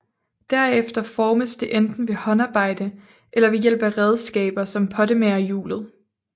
Derefter formes det enten ved håndarbejde eller ved hjælp af redskaber som pottemagerhjulet